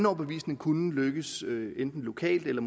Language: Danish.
overbevisning kunne lykkes lokalt eller